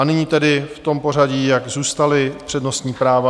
A nyní tedy v tom pořadí, jak zůstala přednostní práva.